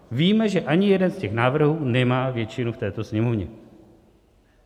Víme, že ani jeden z těch návrhů nemá většinu v této Sněmovně.